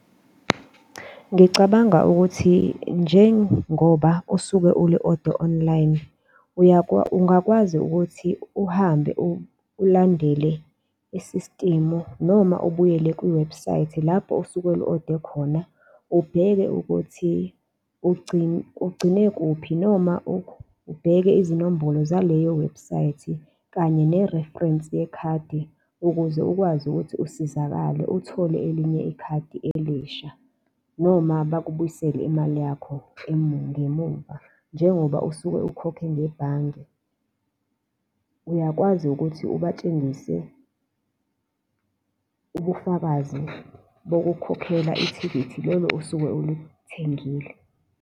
Ngicabanga ukuthi njengoba usuke uli-ode online, ungakwazi ukuthi uhambe ulandele isistimu noma ubuyele kwiwebhusayithi, lapho osuke uli-ode khona. Ubheke ukuthi ugcine kuphi noma ubheke izinombolo zaleyo webhusayithi kanye ne-reference yekhadi ukuze ukwazi ukuthi usizakale uthole elinye ikhadi elisha noma bakubuyisela imali yakho ngemuva, njengoba usuke ukhokhe ngebhange. Uyakwazi ukuthi ubatshengise ubufakazi bokukhokhela ithikithi lelo osuke ulithengile.